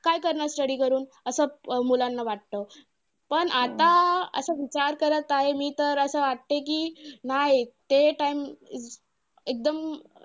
just basically आता five G आलं त्यामुळे birds ला काय harmful होऊ शकत का नाय तुला काय वाटतं .